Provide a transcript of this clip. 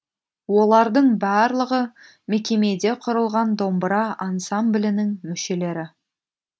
олардың барлығы мекемеде құрылған домбыра ансамблінің мүшелері